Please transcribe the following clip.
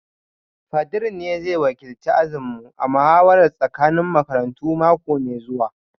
Fadir ne zai wakilci ajinmu a muhawarar tsakanin makarantu mako mai zuwa